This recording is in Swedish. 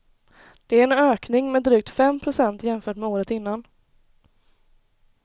Det är en ökning med drygt fem procent jämfört med året innan.